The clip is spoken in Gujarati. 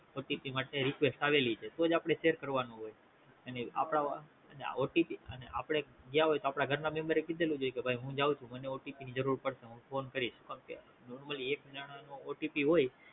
OTP માટે Request આવેલી છે તોજ આપડે share કરવાનો હોય અને આપડા અને OTP અને આપડે ગયા હોયી તો આપડા ઘર ના Member કીધેલુજ હોય કે ભાઈ હું જાવ છું મને OTP ની જરૂર પડશે હું ફોન કરીશ Normally એક જણાનો OTP હોય